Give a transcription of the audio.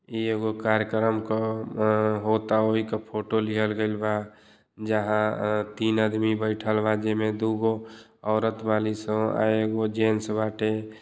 इ एगो कार्यक्रम क अ होता वही क फोटो लिहल गईल बा। जहां तीन आदमी बईठल बा। जेमें दुगो औरत बालीसन। अ एगो जेंट्स बाटे।